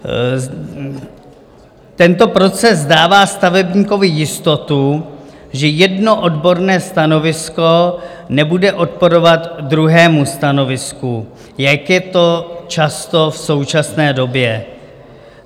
Tento proces dává stavebníkovi jistotu, že jedno odborné stanovisko nebude odporovat druhému stanovisku, jak je tomu často v současné době.